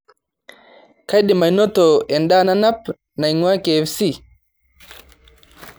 kaidim anoto endaa nanap naing'uaa kfc